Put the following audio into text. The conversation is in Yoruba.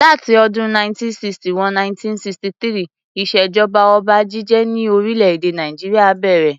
Láti ọdún 1960 wo 1963 ìṣèjọba ọba jíjẹ ni orílè-èdè Nàìjíríà bèrè.